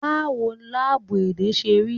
Báwo láábú èdè ṣe rí?